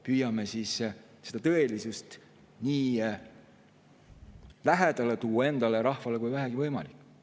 Püüame tõelisust tuua endale ja rahvale nii lähedale, kui vähegi võimalik.